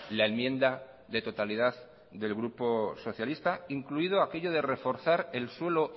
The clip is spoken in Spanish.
la enmienda de totalidad del grupo socialista incluido aquello de reforzar el suelo